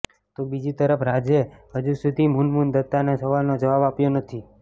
તો બીજી તરફ રાજે હજુ સુધી મુનમુન દત્તાના સવાલનો જવાબ આપ્યો નથી